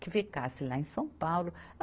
que ficasse lá em São Paulo.